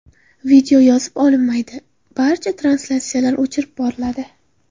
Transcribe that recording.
Video yozib olinmaydi barcha translyatsiyalar o‘chirib boriladi.